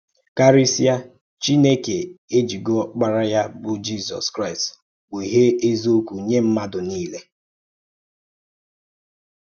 Karísíà, Chínèkè èjìgo Ọ́kpárá Yá, bụ́ Jízọ́s Kraịst kpughee eziokwu nye mmadụ niile